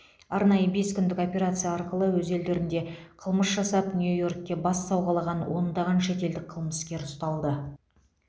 арнайы бес күндік операция арқылы өз елдерінде қылмыс жасап нью йоркте бас сауғалаған ондаған шетелдік қылмыскер ұсталды